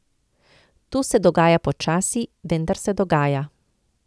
To se dogaja počasi, vendar se dogaja.